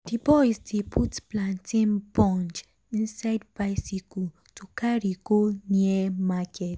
d boys dey put plantain bunch inside bicycle um to carry go near market.